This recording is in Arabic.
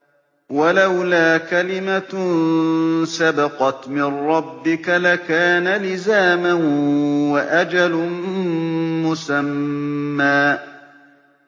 وَلَوْلَا كَلِمَةٌ سَبَقَتْ مِن رَّبِّكَ لَكَانَ لِزَامًا وَأَجَلٌ مُّسَمًّى